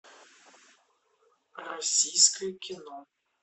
российское кино